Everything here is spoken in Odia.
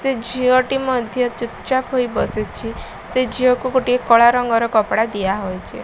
ସେ ଝିଅଟି ମଧ୍ୟ ଚୁପଚାପ୍ ହୋଇ ବସିଛି। ସେ ଝିଅକୁ ଗୋଟେ କଳାରଙ୍ଗର କପଡ଼ା ଦିଆହୋଇଛି।